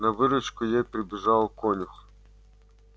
на выручку ей прибежал конюх